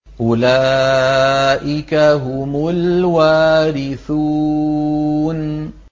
أُولَٰئِكَ هُمُ الْوَارِثُونَ